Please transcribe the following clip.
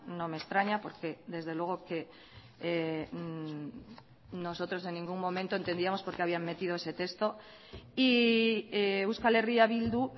no me extraña porque desde luego que nosotros en ningún momento entendíamos porqué habían metido ese texto y euskal herria bildu